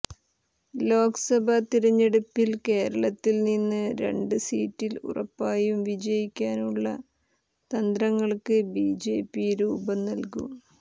ലോക്സഭാ തിരഞ്ഞെടുപ്പിൽ കേരളത്തിൽ നിന്ന് രണ്ട് സീറ്റിൽ ഉറപ്പായും വിജയിക്കാനുള്ള തന്ത്രങ്ങൾക്ക് ബിജെപി രൂപം നൽകും